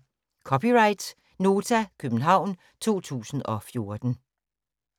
(c) Nota, København 2014